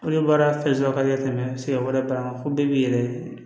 Olu baara fɛn sɔrɔ ka di ne ma siɲɛ wɛrɛ ko bɛɛ bi yɛlɛ